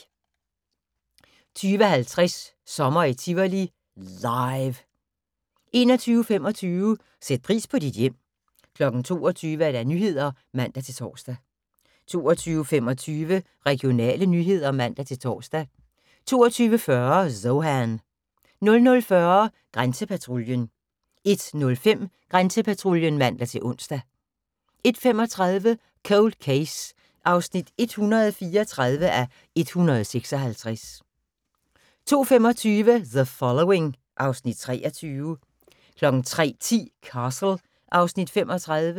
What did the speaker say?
20:50: Sommer i Tivoli – LIVE 21:25: Sæt pris på dit hjem 22:00: Nyhederne (man-tor) 22:25: Regionale nyheder (man-tor) 22:40: Zohan 00:40: Grænsepatruljen 01:05: Grænsepatruljen (man-ons) 01:35: Cold Case (134:156) 02:25: The Following (Afs. 23) 03:10: Castle (Afs. 35)